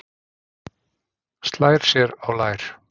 Slær sér á lær.